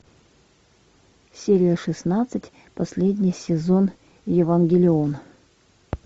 серия шестнадцать последний сезон евангелион